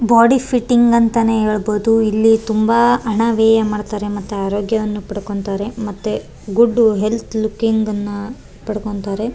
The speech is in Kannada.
ಬಾಡಿ ಫಿಟ್ಟಿಂಗ್ ಅಂತಾನೆ ಹೇಳ್ಬಹುದು ಇಲ್ಲಿ ತುಂಬಾ ಹಣ ವ್ಯಯ ಮಾಡ್ತಾರೆ ಮತ್ತು ಆರೋಗ್ಯವನ್ನು ಪಡ್ಕೊಂತಾರೆ ಮತ್ತೆ ಗುಡ್ಡು ಹೆಲ್ತ್ ಲುಕ್ಕಿಂಗನ್ನ ಪಡ್ಕೊತ್ತಾರೆ.